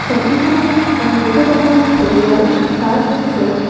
ছবিখনত এখন বহুত ডাঙৰ ঘঁৰিয়াল দেখা গৈছে।